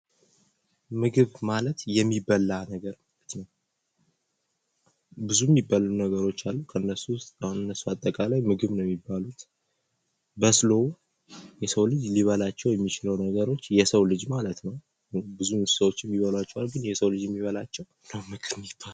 ምግብ ማለት የሚበላ ነገር ማለት ነው። ብዙ የሚበሉ ነገሮች አሉ ከነሱ አሁን እነሱ አጠቃላይ ምግብ ነው የሚባሉት በስሎ የሰው ልጅ ሊበላቸው የሚችሉ ነገሮች የሰው ልጅ ማለት ነው። ብዙ እንሣቶች ይበሏቸዋል ግን የሰው ልጅ የሚበላቸው ናቸው ምግብ የሚባሉት።